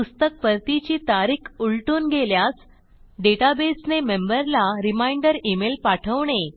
पुस्तक परतीची तारीख उलटून गेल्यास डेटाबेसने मेंबर ला रिमाइंडर इमेल पाठवणे